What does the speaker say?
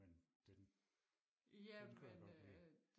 men den den kunne jeg godt lide